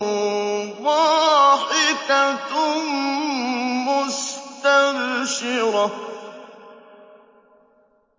ضَاحِكَةٌ مُّسْتَبْشِرَةٌ